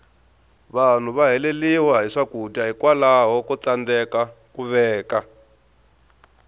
vanhu va helela hi swakudya hikwalaho ko tsandeka ku veka